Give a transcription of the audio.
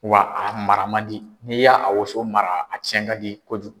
Wa a mara man di n'i ya a woson mara a cɛn ka di kojugu.